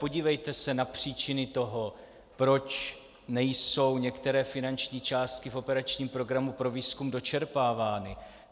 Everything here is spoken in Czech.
Podívejte se na příčiny toho, proč nejsou některé finanční částky v operačním programu pro výzkum dočerpávány.